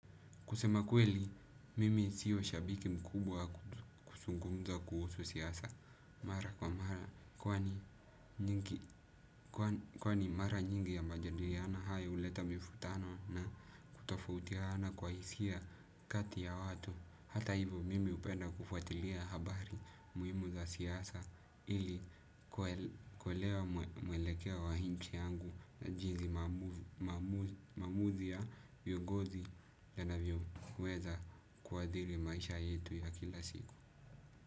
Kusema kweli, mimi siyo shabiki mkubwa kusungumza kuhusu siyasa. Mara kwa mara kwani kwa ni mara nyingi ya majandiriana haya huleta mifutano na kutafautiana kwa hisia kati ya watu. Hata hivyo, mimi upenda kufuatilia habari muhimu za siyasa ili kuelewa muelekeo wahinchi yangu na jizi maamuzi ya viongozi yanavyo. Kuweza kuadhiri maisha yetu ya kila siku.